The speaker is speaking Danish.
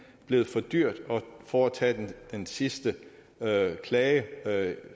blevet for dyrt at foretage den sidste klage